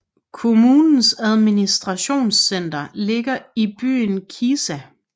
Kommunens administrationscenter ligger i byen Kisa